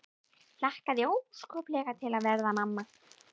Hlakkaði óskaplega til að verða mamma.